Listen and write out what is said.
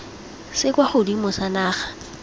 se kwa godimo sa naga